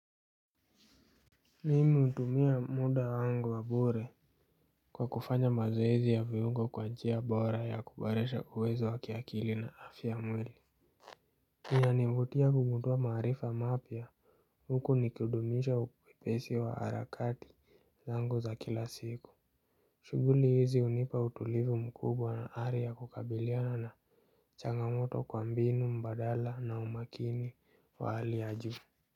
Mimi hutumia muda wangu wa bure kwa kufanya mazoezi ya viungo kwa njia bora ya kuboresha uwezo wa kiakili na afya ya mwili. Inanivutia kugundua maarifa mapya huku nikihudumisha upesi wa harakati zangu za kila siku. Shuguli hizi unipa utulivu mkubwa na ari ya kukabiliana na changamoto kwa mbinu mbadala na umakini wa hali ya juu.